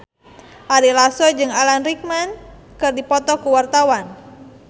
Ari Lasso jeung Alan Rickman keur dipoto ku wartawan